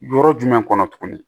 Yɔrɔ jumɛn kɔnɔ tuguni